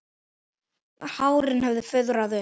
Hárin höfðu fuðrað upp.